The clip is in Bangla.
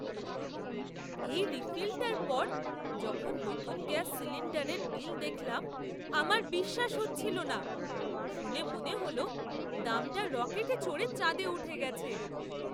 এই রিফিলটার পর যখন নতুন গ্যাস সিলিণ্ডারের বিল দেখলাম, আমার বিশ্বাস হচ্ছিল না। শুনে মনে হল দামটা রকেটে চড়ে চাঁদে উঠে গেছে!